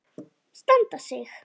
Standa sig.